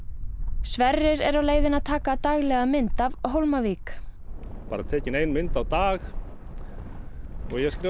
Sverrir er á leiðinni að taka daglega mynd af Hólmavík bara tekin ein mynd á dag og ég skrifa